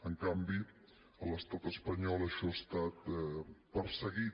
en canvi a l’estat espanyol això ha estat perseguit